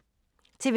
TV 2